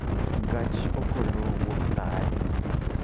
Gach okolo wuok saa adi?